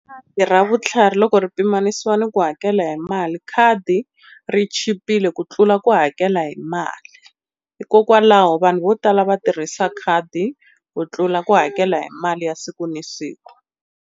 Khadi ra vutlhari loko ri pimanisiwa ni ku hakela hi mali khadi ri chipile ku tlula ku hakela hi mali, hikokwalaho vanhu vo tala va tirhisa khadi ku tlula ku hakela hi mali ya siku na siku.